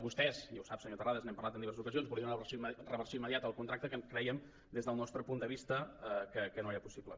vostès i ho sap senyor terrades n’hem parlat en diverses ocasions volien la reversió immediata del contracte que creiem des del nostre punt de vista que no era possible